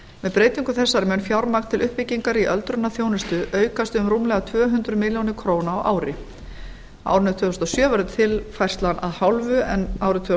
með breytingu þessari mun fjármagn til uppbyggingar í öldrunarþjónustu aukast um rúmlega tvö hundruð milljóna króna á ári á árinu tvö þúsund og sjö verður tilfærslan að hálfu en árið tvö